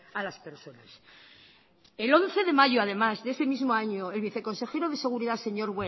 a las personas el once de mayo además de ese mismo año el viceconsejero de seguridad señor